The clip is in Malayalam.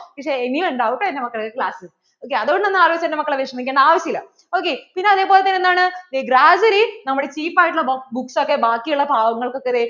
ഇനിയും ഉണ്ടാവും കേട്ടോ എന്‍റെ മക്കളുക്ക് classok അതുകൊണ്ടു ഒന്നും ആലോചിച്ചു എന്‍റെ മക്കള് വിഷമിക്കേണ്ട ആവശ്യം ഇല്ല ok പിന്നെ അതേപോലെ തന്നെ എന്താണ്, gradually ഈ നമ്മടെ cheap ആയിട്ട് ഉള്ള book ഒക്കെ ബാക്കി ഉള്ള പാവങ്ങള്‍ക്ക് ഒക്കെ ദേ